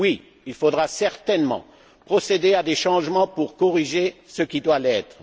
Oui, il faudra certainement procéder à des changements pour corriger ce qui doit l'être.